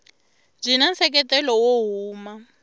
byi na nseketelo wo huma